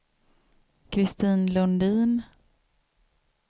Kristin Lundin